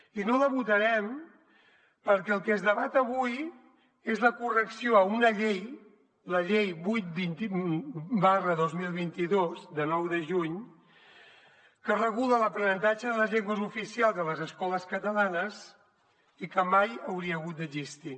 i no la votarem perquè el que es debat avui és la correcció a una llei la llei vuit dos mil vint dos de nou de juny que regula l’aprenentatge de les llengües oficials a les escoles catalanes i que mai hauria hagut d’existir